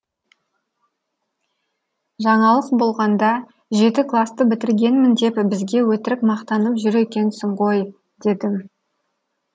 жаңалық болғанда жеті класты бітіргенмін деп бізге өтірік мақтанып жүр екенсің ғой дедім